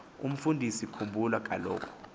umfundisi khumbula kaloku